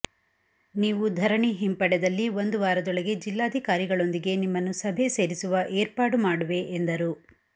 ನೀವು ಧರಣಿ ಹಿಂಪಡೆದಲ್ಲಿ ಒಂದು ವಾರದೊಳಗೆ ಜಿಲ್ಲಾಧಿಕಾರಿಗಳೊಂದಿಗೆ ನಿಮ್ಮನ್ನು ಸಭೆ ಸೇರಿಸುವ ಏರ್ಪಾಡು ಮಾಡುವೆ ಎಂದರು